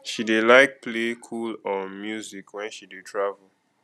she dey like play cool um music wen she dey travel